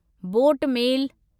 boat मेल